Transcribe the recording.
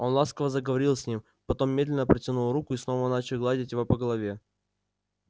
он ласково заговорил с ним потом медленно протянул руку и снова начал гладить его по голове